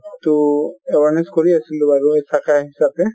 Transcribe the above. টো awareness কৰি আছিলো বাৰু